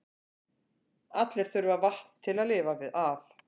Allir þurfa vatn til að lifa af.